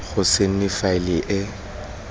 go se nne faele e